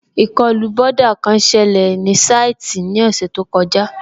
Ìkọlù bọ́dà kan sẹlẹ̀ ní sáìtì ní ọ̀sẹ̀ tó kọjá